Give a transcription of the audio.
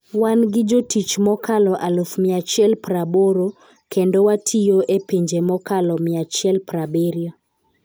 Wan gi jotich mokalo 180,000, kendo watiyo e pinje mokalo 170.